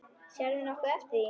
Sérðu nokkuð eftir því?